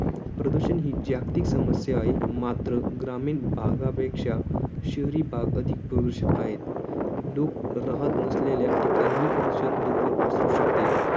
प्रदूषण ही जागतिक समस्या आहे. मात्र ग्रामीण भागापेक्षा शहरी भाग अधिक प्रदूषित आहेत. लोक राहत नसलेल्या ठिकाणीही प्रदूषण दूर वर पसरू शकते.